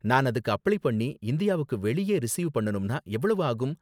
நான் அதுக்கு அப்ளை பண்ணி இந்தியாவுக்கு வெளியே ரிசீவ் பண்ணனும்னா எவ்வளவு ஆகும்?